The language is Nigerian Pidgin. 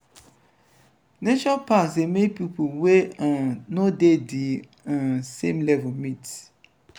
nature parks dey make pipo wey um no dey di um same level meet